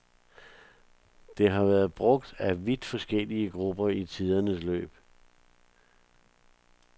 Det har været brugt af vidt forskellige grupper i tidens løb.